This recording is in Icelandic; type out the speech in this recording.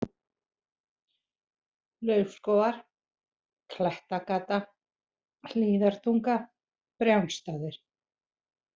Laufskógar, Klettagata, Hlíðartunga, Brjánsstaðir